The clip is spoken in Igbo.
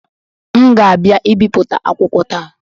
M ga-abịa ibipụta akwụkwọ taa